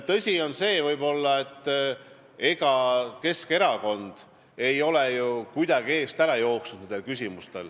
Tõsi on see, et ega Keskerakond ei ole ju kuidagi nende küsimuste eest ära jooksnud.